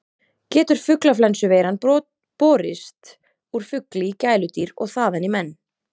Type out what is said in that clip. Getur fuglaflensuveiran borist úr fugli í gæludýr og þaðan í menn?